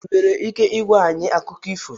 Ị nwere ike ịgwa anyị akụkọ?